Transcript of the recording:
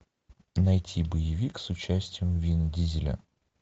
найти боевик с участием вин дизеля